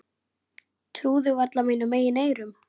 Trúði varla mínum eigin eyrum.